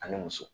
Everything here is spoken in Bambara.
Ani muso